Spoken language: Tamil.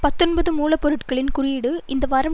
பத்தொன்பது மூல பொருட்களின் குறியீடு இந்த வாரம்